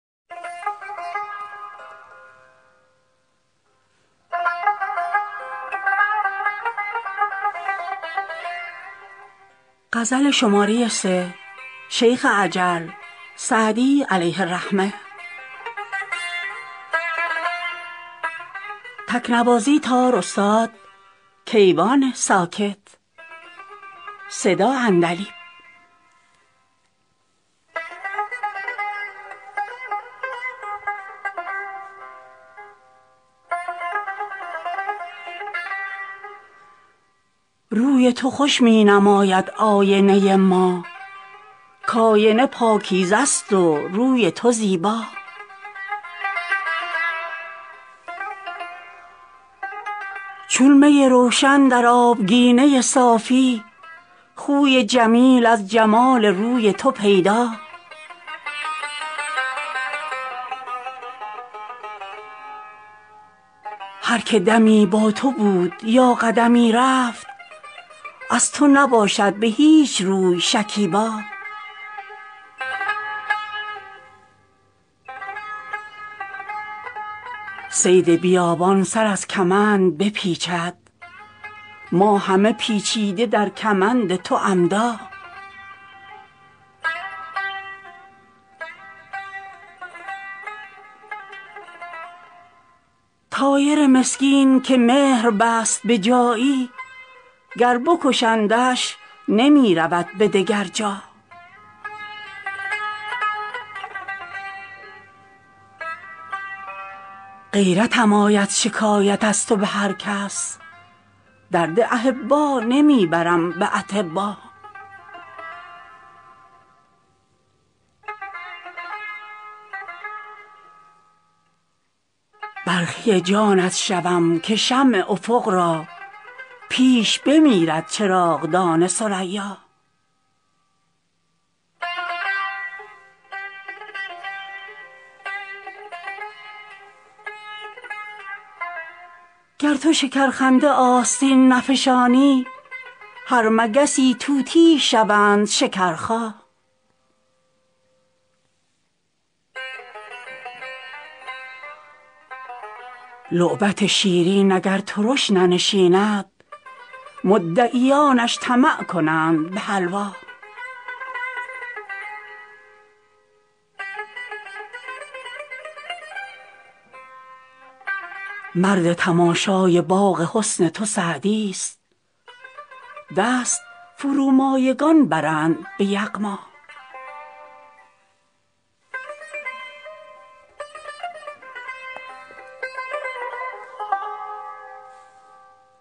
روی تو خوش می نماید آینه ما کآینه پاکیزه است و روی تو زیبا چون می روشن در آبگینه صافی خوی جمیل از جمال روی تو پیدا هر که دمی با تو بود یا قدمی رفت از تو نباشد به هیچ روی شکیبا صید بیابان سر از کمند بپیچد ما همه پیچیده در کمند تو عمدا طایر مسکین که مهر بست به جایی گر بکشندش نمی رود به دگر جا غیرتم آید شکایت از تو به هر کس درد احبا نمی برم به اطبا برخی جانت شوم که شمع افق را پیش بمیرد چراغدان ثریا گر تو شکرخنده آستین نفشانی هر مگسی طوطیی شوند شکرخا لعبت شیرین اگر ترش ننشیند مدعیانش طمع کنند به حلوا مرد تماشای باغ حسن تو سعدیست دست فرومایگان برند به یغما